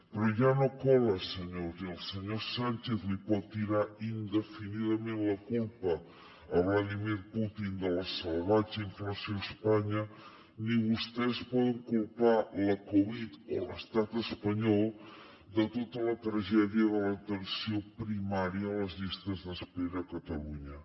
però ja no cola senyors ni el senyor sánchez li pot tirar indefinidament la culpa a vladímir putin de la salvatge inflació a espanya ni vostès poden culpar la covid o l’estat espanyol de tota la tragèdia de l’atenció primària o les llistes d’espera a catalunya